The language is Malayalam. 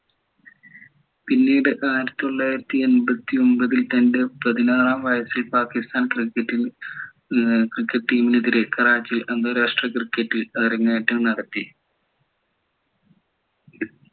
പിന്നീട് ആയിരത്തി തൊള്ളായിരത്തി എൺപത്തിയൊമ്പതിൽ തൻ്റെ പതിനാറാം വയസ്സിൽ പാക്കിസ്ഥാൻ cricket team നെതിരെ കറാച്ചിയിൽ അന്താരാഷ്ട്ര cricket ൽ അരങ്ങേറ്റം നടത്തി